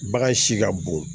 Bagan si ka bon